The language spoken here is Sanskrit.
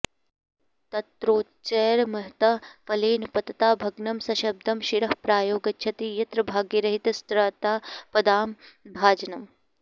तत्रोच्चैर्महता फलेन पतता भग्नं सशब्दं शिरः प्रायो गच्छति यत्र भाग्यरहितस्तत्रापदां भाजनम्